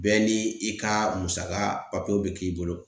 Bɛɛ ni i ka musaka papiyew bɛ k'i bolo